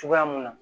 Cogoya mun na